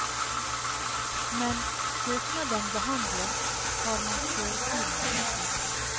Mens søknaden behandles, tar man kjøretimer.